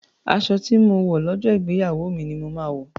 Aṣọ tí mo wọ̀ lọ́jọ́ ìgbéyàwó mi ni mo máa wọ̀.,